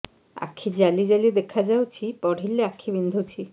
ଆଖି ଜାଲି ଜାଲି ଦେଖାଯାଉଛି ପଢିଲେ ଆଖି ବିନ୍ଧୁଛି